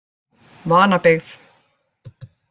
Vanabyggð